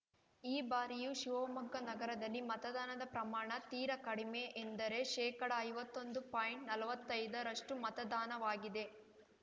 ಈ ಬಾರಿಯೂ ಶಿವಮೊಗ್ಗ ನಗರದಲ್ಲಿ ಮತದಾನದ ಪ್ರಮಾಣ ತೀರಾ ಕಡಿಮೆ ಎಂದರೆ ಶೇಕಡಐವತ್ತೊಂದು ಪಾಯಿಂಟ್ನಲ್ವತ್ತೈದರಷ್ಟುಮತದಾನವಾಗಿದೆ